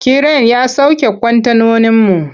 Kiren ya sauke kwantenoninmu.